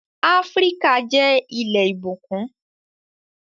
Áfríkà jẹ́ ilẹ̀ ìbùkún